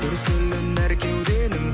дүрсілін әр кеуденің